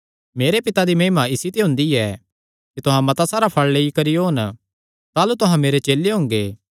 मेरे पिता दी महिमा इसी ते हुंदी ऐ कि तुहां मता सारा फल़ लेई करी ओन ताह़लू तुहां मेरे चेले हुंगे